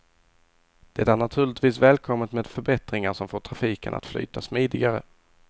Det är naturligtvis välkommet med förbättringar som får trafiken att flyta smidigare.